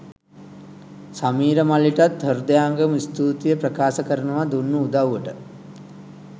සමීර මල්ලිටත් හෘදයාංගම ස්තුතිය ප්‍රකාශ කරනවා දුන්නු උදව්වට